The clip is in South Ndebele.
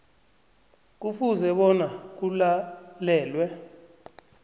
kufuze bona kulalelwe